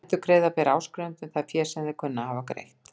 Endurgreiða ber áskrifendum það fé sem þeir kunna að hafa greitt.